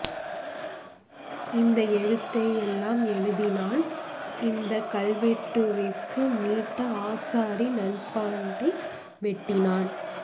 இந்த எழுத்து எல்லாம் எழுதினான் இந்தக் கல்வெட்டு விரற்கு மிண்ட ஆசாரி நம்பாண்டை வெட்டினான்